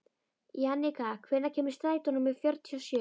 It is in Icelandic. Jannika, hvenær kemur strætó númer fjörutíu og sjö?